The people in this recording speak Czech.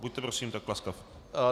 Buďte prosím tak laskav.